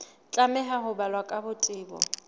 tlameha ho balwa ka botebo